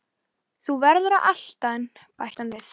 Þú verður að elta hann bætti hann við.